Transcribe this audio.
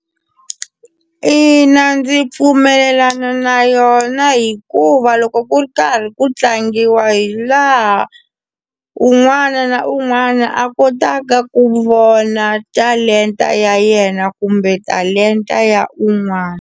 Ina ndzi pfumelelana na yona hikuva loko ku ri karhi ku tlangiwa hi laha un'wana na un'wana a kotaka ku vona talenta ya yena kumbe talenta ya un'wana.